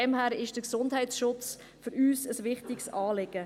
Daher ist der Gesundheitsschutz für uns ein wichtiges Anliegen.